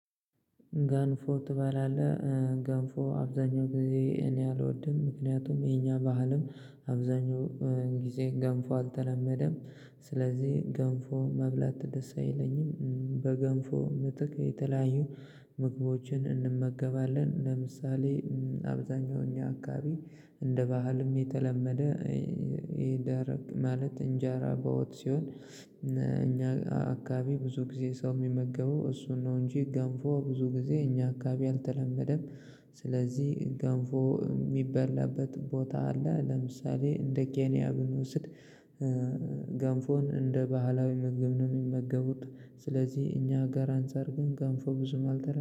ገንፎ ትባላለህ? ገንፎ አብዛኛው ጊዜ እኔ አልወድም ምክንያቱም የኛ ባህልም አብዛኛው ጊዜ ገንፎ አልተለመደም ስለዚህ ገንፎ መብላት ደስ አይለኝም። በገንፎ ምትክ የተለያዩ ምግቦችን እንመገባለን ለምሳሌ አብዛኛው እኛ አካባቢ እንደ ባህልም የተለመደ ይደረቅ ማለት እንጀራ በወጥ ሲሆን እኛ አካባቢ ብዙ ጊዜ ሰው የሚመገበው እሱን ነው እንጂ ገንፎ ብዙ ጊዜ እኛ አካባቢ አልተለመደም። ስለዚህ ገንፎ የሚበላበት ቦታ አለ ለምሳሌ እንደ ኬኒያ ብንወስድ። ገንፎን እንደ ባህላዊ መገብ ነው የሚመገቡት ስለዚህ እኛ ጋር አንፃር ግን ገንፎ ብዙም አልተለ